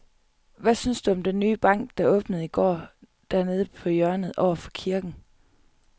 Hvad synes du om den nye bank, der åbnede i går dernede på hjørnet over for kirken?